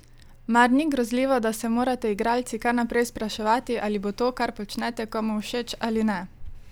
Mar ni grozljivo, da se morate igralci kar naprej spraševati, ali bo to, kar počnete, komu všeč ali ne?